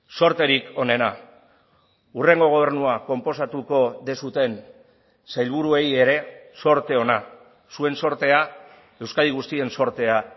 zorterik onena hurrengo gobernua konposatuko duzuen sailburuei ere zorte ona zuen zortea euskadi guztien zortea